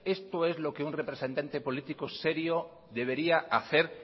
esto es lo que un representante político serio debería hacer